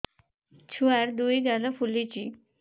ଛୁଆର୍ ଦୁଇ ଗାଲ ଫୁଲିଚି